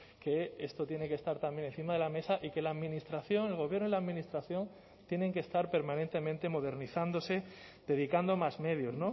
que esto tiene que estar también encima de la mesa y que la administración el gobierno y la administración tienen que estar permanentemente modernizándose dedicando más medios